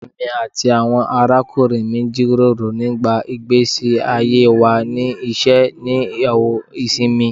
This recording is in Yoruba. Emi ati awọn arakunrin mi jiroro nipa igbesi aye wa ni iṣẹ ni awọn isinmi